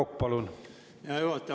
Hea juhataja!